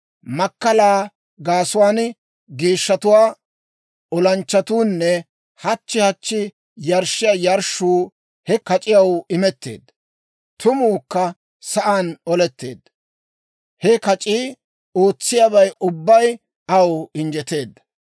Makkalaa gaasuwaan geeshshatuwaa olanchchatuunne hachchi hachchi yarshshiyaa yarshshuu he kac'iyaw imetteedda. Tumuukka sa'aan oletteedda; he kac'ii ootsiyaabay ubbay aw injjeteedda.